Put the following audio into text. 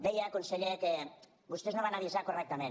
deia conseller que vostès no van avisar correctament